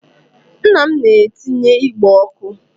Nna m na-etinye igbe ọkụ.